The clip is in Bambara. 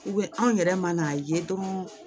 anw yɛrɛ man n'a ye dɔrɔn